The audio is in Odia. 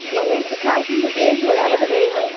ବିମ୍ସ ଖାଉ ବୋଧେ ବିମ୍ସ ଭଳିଆ ବୋଧେ ହେଇନାହୁଁ?